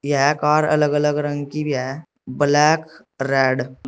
यह कार अलग अलग रंग की भी है ब्लैक रेड --